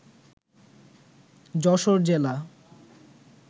যশোর জেলা